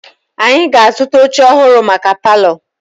Anyị ga-azụta oche ọhụrụ maka palọ.